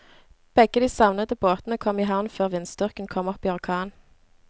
Begge de savnede båtene kom i havn før vindstyrken kom opp i orkan.